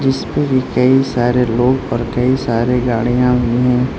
इसपे भी कई सारे लोग और कई सारे गाड़ियां भी हैं।